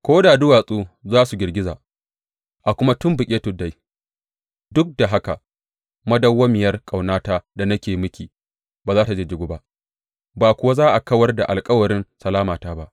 Ko da duwatsu za su girgiza a kuma tumɓuke tuddai, duk da haka madawwamiyar ƙaunata da nake yi miki ba za tă jijjigu ba ba kuwa za a kawar da alkawarin salamata ba,